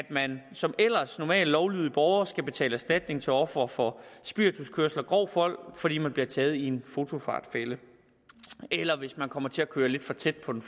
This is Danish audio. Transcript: man som ellers normalt lovlydig borger skal betale erstatning til ofre for spirituskørsel og grov vold fordi man bliver taget i en fotofartfælde eller hvis man kommer til at køre lidt for tæt på den